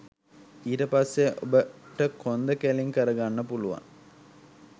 ඊට පස්සේ ඔබට කොන්ද කෙළින් කරගන්න පුළුවන්.